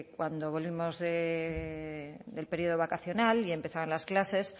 cuando volvimos del periodo vacacional y empezaban las clases